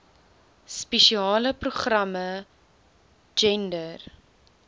spesiale programme gender